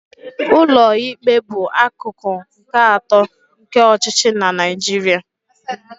Ụlọikpe bụ akụkụ nke atọ nke ọchịchị na Naijiria.